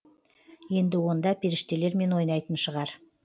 енді онда періштелермен ойнайтын шығар